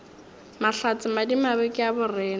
mahlatse madimabe ke a borena